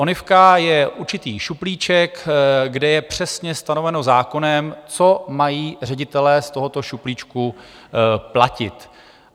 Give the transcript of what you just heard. Onivka je určitý šuplíček, kde je přesně stanoveno zákonem, co mají ředitelé z tohoto šuplíčku platit.